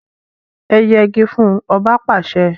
E yegi fún! Oba pàse!